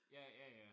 Ja ja ja